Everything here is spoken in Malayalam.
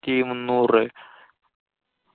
ത്തി മുന്നൂറ് രൂപയോ